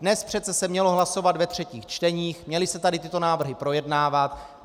Dnes se přece mělo hlasovat ve třetích čteních, měly se tady tyto návrhy projednávat.